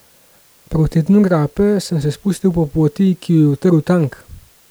Proti dnu grape sem se spustil po poti, ki jo je utrl tank.